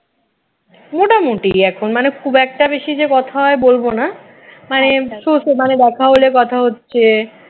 মোটামুটি এখন মানে খুব একটা বেশি যে কথা হয় বলব না মানে দেখা হলে কথা হচ্ছে